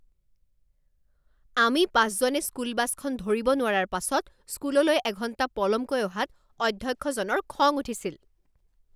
আমি পাঁচজনে স্কুল বাছখন ধৰিব নোৱাৰাৰ পাছত স্কুললৈ এঘণ্টা পলমকৈ অহাত অধ্যক্ষজনৰ খং উঠিছিল